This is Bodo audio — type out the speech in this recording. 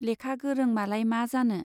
लेखा गोरों मालाय मा जानो।